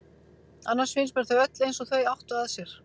Annars finnst mér þau öll eins og þau áttu að sér.